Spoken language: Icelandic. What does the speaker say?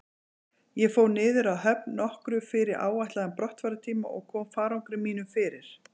Ég fór niður að höfn nokkru fyrir áætlaðan brottfarartíma og kom farangri mínum fyrir.